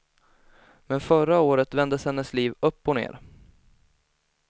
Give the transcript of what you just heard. Men förra året vändes hennes liv upp och ner.